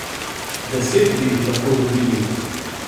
Deset bi jih lahko dobili!